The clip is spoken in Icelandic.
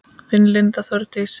Þín Linda Þórdís.